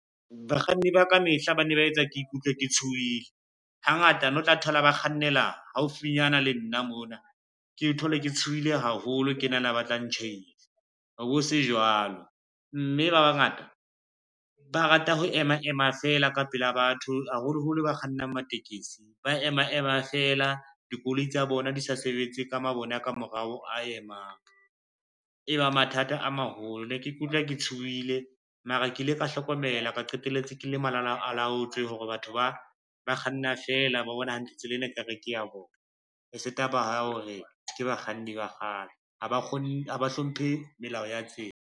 Bakganni ba kamehla ba ne ba etsa ke ikutlwa ke tshohile. Hangata no tla thola ba kgannela haufinyana le nna mona, ke thole ke tshohile haholo ke nahana ba tla ntjhaisa ho bo se jwalo, mme ba bangata ba rata ho ema ema fela ka pela batho, haholoholo ba kgannang matekesi ba ema ema fela dikoloi tsa bona di sa sebetse ka mabone a ka morao a emang, e ba mathata a maholo. Ne ke ikutlwa ke tshohile mara ke ile ka hlokomela ka qetelletse ke le malalalaotswe hore batho ba, ba kganna fela ba bona hantle tsela ena e ka re ke ya bona, e se taba ya hore ke bakganni ba kgale ha ba hlomphe melao ya tsela.